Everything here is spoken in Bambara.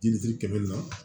Diliti kɛmɛ ni